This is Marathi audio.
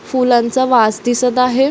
फूलांचा वास दिसत आहे.